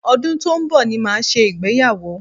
Ọdún tó ń bọ̀ ni màá ṣe ìgbéyàwó